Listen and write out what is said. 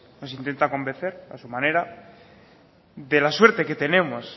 nos intenta convencer a su manera de la suerte que tenemos